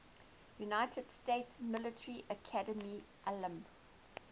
united states military academy alumni